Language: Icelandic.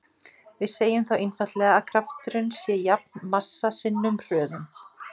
Við segjum þá einfaldlega að krafturinn sé jafn massa sinnum hröðun.